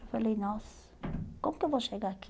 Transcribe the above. Eu falei, nossa, como que eu vou chegar aqui?